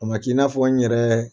A man k'i n'a fɔ n yɛrɛ